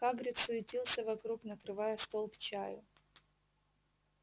хагрид суетился вокруг накрывая стол к чаю